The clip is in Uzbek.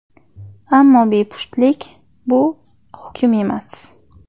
Ammo bepushtlik bu hukm emas!